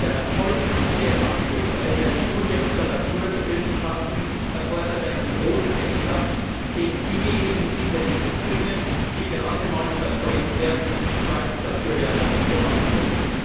Der erfolgreiche Abschluss eines Studiums der Naturwissenschaften erfordert einen hohen Einsatz, den diejenigen sicher nicht bringen, die gerade mal überzeugt werden, weil dafür Werbung gemacht wird.